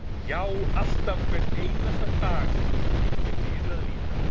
Já, alltaf, hvern einasta dag sem guð gefur yfir að líta.